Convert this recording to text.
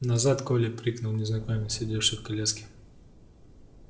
назад колли крикнул незнакомец сидевший в коляске